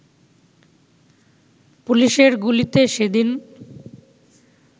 পুলিশের গুলিতে সেদিন